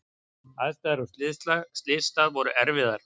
Aðstæður á slysstað voru erfiðar.